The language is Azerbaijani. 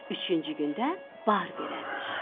Üçüncü gün də bar verərmiş.